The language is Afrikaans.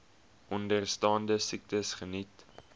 onderstaande siektes geniet